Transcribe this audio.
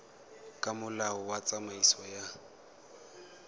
ka molao wa tsamaiso ya